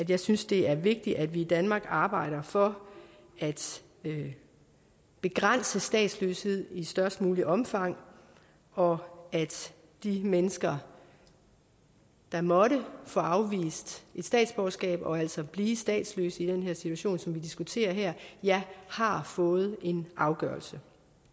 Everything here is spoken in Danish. jeg synes det er vigtigt at vi i danmark arbejder for at begrænse statsløshed i størst muligt omfang og at de mennesker der måtte få afvist et statsborgerskab og altså bliver statsløse i den situation som vi diskuterer her har fået en afgørelse